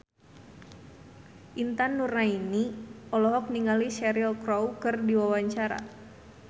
Intan Nuraini olohok ningali Cheryl Crow keur diwawancara